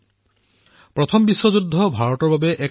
ভাৰতৰ বাবে প্ৰথম বিশ্বযুদ্ধ এক গুৰুত্বপূৰ্ণ ঘটনা আছিল